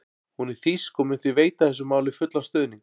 Hún er þýsk og mun því veita þessu máli fullan stuðning.